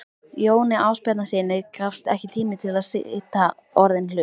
Jóni Ásbjarnarsyni gafst ekki tími til að sýta orðinn hlut.